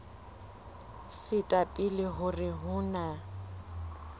feta pele hore ho na